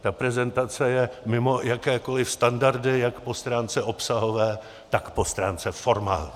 Ta prezentace je mimo jakékoli standardy jak po stránce obsahové, tak po stránce formální.